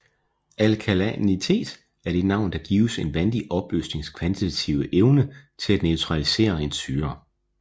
Alkalinitet er det navn der gives en vandig opløsnings kvantitative evne til at neutralisere en syre